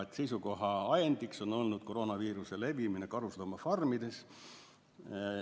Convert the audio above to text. Seisukoha ajendiks on olnud koroonaviiruse levimine karusloomafarmides.